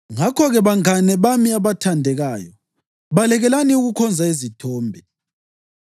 Ngakho-ke, bangane bami abathandekayo, balekelani ukukhonza izithombe.